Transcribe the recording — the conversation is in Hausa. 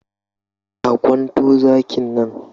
Ka kwanto zakin nan!